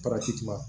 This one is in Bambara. parakiti